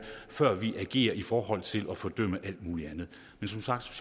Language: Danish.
før vi agerer i forhold til at fordømme alt muligt andet men som sagt